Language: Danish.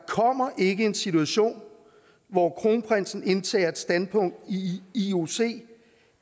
ikke en situation hvor kronprinsen ville indtage et standpunkt i ioc